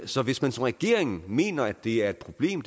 så hvis man som regering mener det er et problem